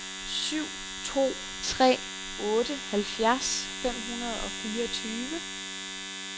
syv to tre otte halvfjerds fem hundrede og fireogtyve